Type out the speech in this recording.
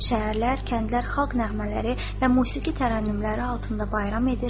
Şəhərlər, kəndlər, xalq nəğmələri və musiqi tərənnümləri altında bayram edir.